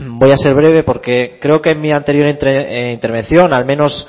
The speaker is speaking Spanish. voy a ser breve porque creo en mi anterior intervención al menos